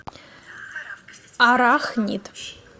арахнид